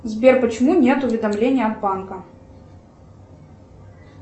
сбер почему нет уведомления от банка